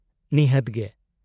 -ᱱᱤᱦᱟᱹᱛ ᱜᱮ ᱾